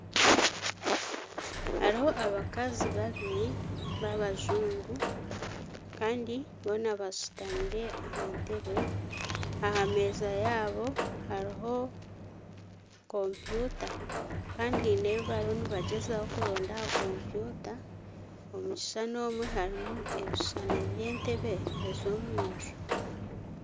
Hariho abakazi babiri babajungu kandi boona bashutamire aha nteebe aha meeza yaabo hariho kompyuta kandi haine ebi bariyo nibagyezaho kuronda aha kompyuta omu bishushani omwo harimu ebishushani eby'omunju